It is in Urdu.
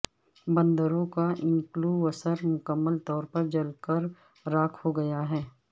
بندروں کا انکلووثر مکمل طور پر جل کر راکھ ہو گیا ہے